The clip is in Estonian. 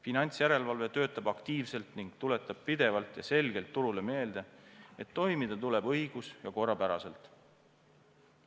Finantsjärelevalve töötab aktiivselt ning tuletab pidevalt ja selgelt turule meelde, et toimida tuleb õigus- ja korrapäraselt.